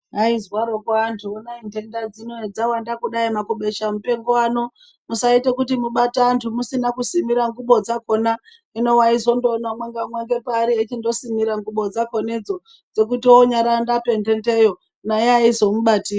Ayi zwaroko antu honai dhenda dzino hedza wanda kudai maku besha mupengo ano musaite kuti mubate antu musina kusimira ngubo dzakona hino waizotoona umwe nga umwe nge paari eyiiti ndo simira ngubo dzakona idzo dzekuti onyari o rapa dhenda iyo naye aizo mubati.